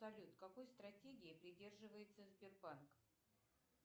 салют какой стратегии придерживается сбербанк